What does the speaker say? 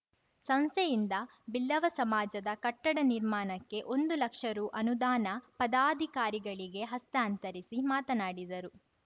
ಸಂಸ್ಥೆಯಿಂದ ಬಿಲ್ಲವ ಸಮಾಜದ ಕಟ್ಟಡ ನಿರ್ಮಾಣಕ್ಕೆ ಒಂದು ಲಕ್ಷ ರು ಅನುದಾನ ಪದಾಧಿಕಾರಿಗಳಿಗೆ ಹಸ್ತಾಂತರಿಸಿ ಮಾತನಾಡಿದರು